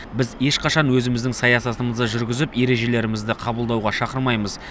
біз ешқашан өзіміздің саясатымызды жүргізіп ережелерімізді қабылдауға шақырмаймыз